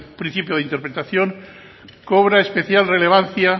principio de interpretación cobra especial relevancia